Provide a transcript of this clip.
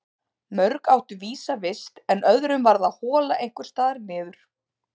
Mörg áttu vísa vist en öðrum varð að hola einhvers staðar niður.